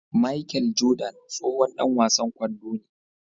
Machel Jordan tsohon Dan wasan kwando ne